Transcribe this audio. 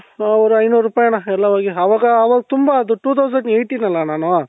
ಓ ಐನೂರು ರೂಪಾಯಿ ಅಣ್ಣ ಎಲ್ಲಾ ಹೋಗಿ ಅವಾಗ ಅವಾಗ ತುಂಬಾ ಅದು two thousand eighteen ಅಲ್ಲ ನಾನು